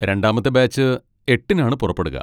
രണ്ടാമത്തെ ബാച്ച് എട്ടിനാണ് പുറപ്പെടുക.